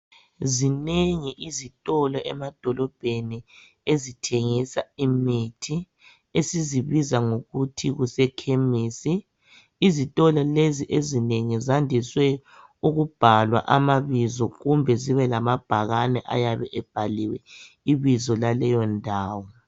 Zinengi izitolo emadolobheni ezithengisa imithi esizibiza ngokuthi kusekhemisi izitolo lezi ezinengi zandiswe ukubhalwa amabizo kumbe zibe lamabhakane ayabe ebhaliwe ibizo laleyo ndawo